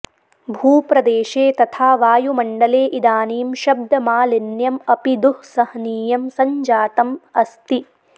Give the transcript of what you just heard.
भूप्रदेशे तथा वायुमण्डले इदानीं शब्दमालिन्यम् अपि दुस्सहनीयं सञ्जातम् अस्ति